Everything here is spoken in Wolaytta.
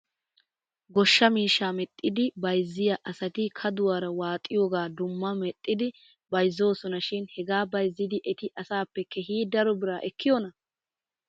Goshshaa miishsha medhdhidi bayzziyaa asati kaduwaara waaxiyoogaa dumma medhdhidi bayzzoosona shin hegaa bayzzidi eti asaappe keehi daro biraa ekkiyoonaa ?